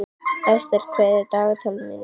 Estel, hvað er í dagatalinu mínu í dag?